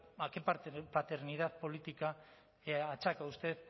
a qué parte de paternidad política achaca usted